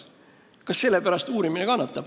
Kas uurimine kannataks selle pärast?